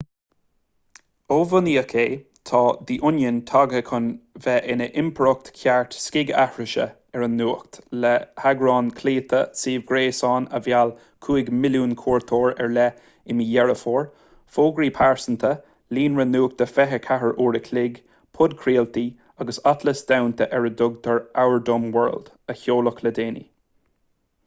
ó bunaíodh é tá the onion tagtha chun bheith ina impireacht cheart scigaithrise ar an nuacht le heagrán clóite suíomh gréasáin a mheall 5,000,000 cuairteoir ar leith i mí dheireadh fómhair fógraí pearsanta líonra nuachta 24 uair an chloig podchraoltaí agus atlas domhanda ar a dtugtar our dumb world a seoladh le déanaí